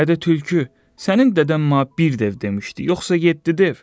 Ədə tülkü, sənin dədən ma bir dev demişdi, yoxsa yeddi dev?